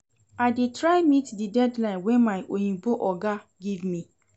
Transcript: I dey try meet di deadline wey my oyimbo oga give me